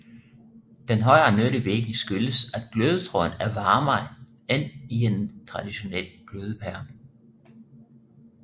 Den højere nyttevirkning skyldes at glødetråden er varmere end i en traditionel glødepære